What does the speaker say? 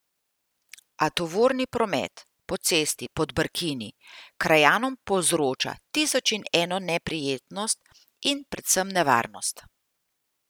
A tovorni promet po cesti pod Brkini krajanom povzroča tisoč in eno neprijetnost in predvsem nevarnost.